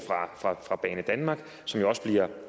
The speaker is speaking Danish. fra banedanmark som også bliver